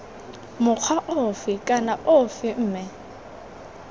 mokgwa ofe kana ofe mme